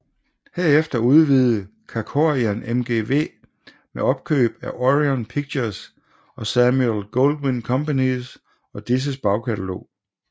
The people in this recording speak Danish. Herefter udvidede Kerkorian MGM ved opkøb af Orion Pictures og Samuel Goldwyn Company og disses bagkatalog